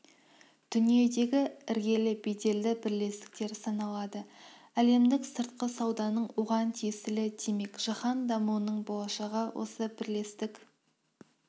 дүниедегі іргелі беделді бірлестік саналады әлемдік сыртқы сауданың оған тиеслі демек жаһан дамуының болашағы осы бірлестік